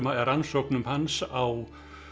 eða rannsóknum hans á